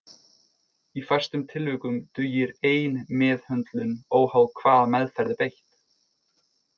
Í fæstum tilvikum dugir ein meðhöndlun óháð hvaða meðferð er beitt.